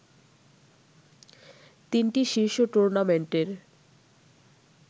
তিনটি শীর্ষ টুর্নামেন্টের